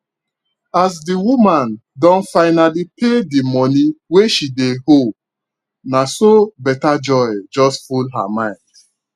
as di woman don finally pay the money wey she dey owe naso better joy just full her mind